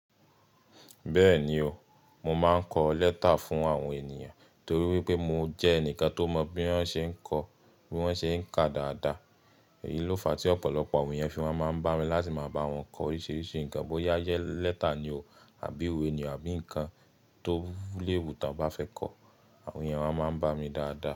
Bẹ́ẹ̀ni o, mo máa ń kọ lẹ́tà fún àwọn ènìyàn torí wípé mo jẹ́ ẹnìkan tó mọ bí wọ́n ṣe ń kọ bí wọ́n ṣe ń kà dáadáa. Èyí ló fa tí ọ̀pọ̀lọpọ̀ àwọn èèyàn fi wá máa ń bá mi láti máa bá wọn kọ oríṣiríṣi nǹkan bóyá yé lẹ́tà ni o àbí ìwé ni o àbí ǹkan tó léwu ta o bá fẹ́ kọ, àwọn ènìyàn wa máa ń bá mi dáadáa.